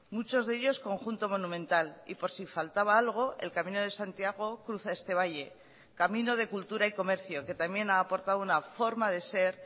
muchos de ellos conjunto monumental y por si faltaba algo el camino de santiago cruza este valle camino de cultura y comercio que también ha aportado una forma de ser